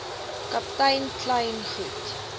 kaptein kleyn goed